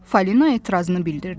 Fali etirazını bildirdi.